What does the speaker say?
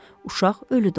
Uşaq ölü doğulur.